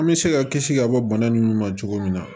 An bɛ se ka kisi ka bɔ bana nunnu ma cogo min na